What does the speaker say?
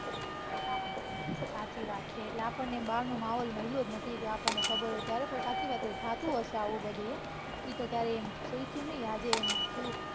સાચી વાત છે એટલે આપણને આમ બારનો માહોલ મઈલો જ નથી કે આપણને ખબર હોય ત્યારે પણ સાચી વાત થતું હશે આવું બધું ય ઈતો ક્યારેય પૂઇછું નઈ આજે એમ થયું